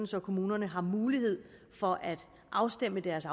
så kommunerne har mulighed for at afstemme deres